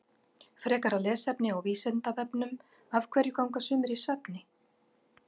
Frekara lesefni á Vísindavefnum Af hverju ganga sumir í svefni?